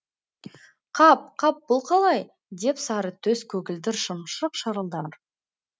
қап қап бұл қалай деп сары төс көгілдір шымшық шырылдар